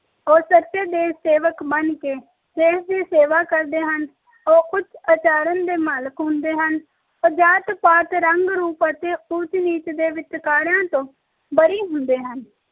ਉਹ ਸਚੇ ਦੇਸ਼ ਸੇਵਕ ਬਣ ਕੇ ਦੇਸ਼ ਦੀ ਸੇਵਾ ਕਰਦੇ ਹਨ ਉਹ ਉੱਚ ਆਚਰਣ ਦੇ ਮਾਲਕ ਹੁੰਦੇ ਹਨ ਉਹ ਜਾਤ ਪਾਤ ਉੱਚ ਨੀਚ ਅਤੇ ਰੰਗ ਰੂਪ ਦੇ ਵਿਤਕਰਿਆਂ ਤੋਂ ਬੜੀ ਹੁੰਦੇ ਹਨ